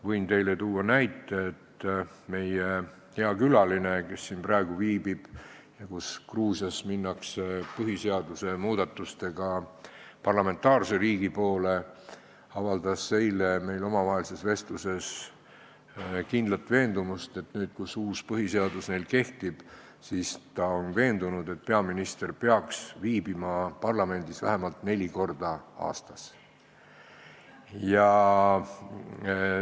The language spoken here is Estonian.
Võin teile tuua näite, et meie hea külaline, kes siin praegu viibib – Gruusias liigutakse põhiseaduse muudatustega parlamentaarse riigi poole –, avaldas eile meie omavahelises vestluses kindlat veendumust, et nüüd, kui neil kehtib uus põhiseadus, peaks peaminister viibima parlamendis vähemalt neli korda aastas.